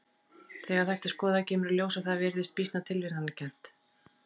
Þegar þetta er skoðað kemur í ljós að það virðist býsna tilviljanakennt.